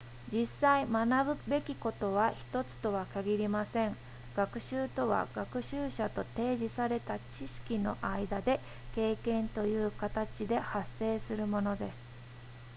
実際学ぶべきことは1つとは限りません学習とは学習者と提示された知識の間で経験というかたちで発生するものです